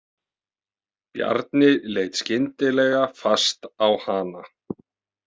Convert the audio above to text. Bjarni leit skyndilega fast á hana.